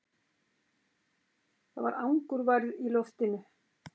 Það var angurværð í loftinu.